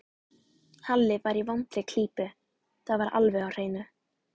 Halli var í vondri klípu, það var alveg á hreinu.